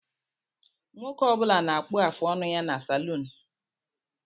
Nwoke Ọ bula na-akpu afụ ọnụ ya ná saluunu.